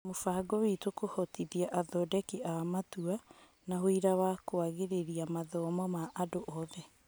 Mũbango witũ, kũhotithia athondeki a matua na ũira wa kũagĩria mathomo ma andũ othe.